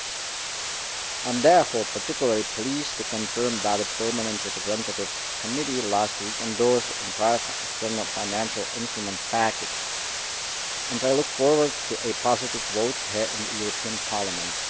I am therefore particularly pleased to confirm that the Permanent Representatives Committee last week endorsed the entire external financial instruments package, and I look forward to a positive vote here in the European Parliament.